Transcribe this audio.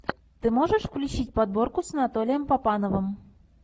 ты можешь включить подборку с анатолием папановым